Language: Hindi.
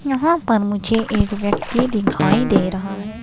यहां पर मुझे एक व्यक्ति दिखाई दे रहा है।